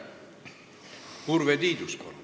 Urve Tiidus, palun!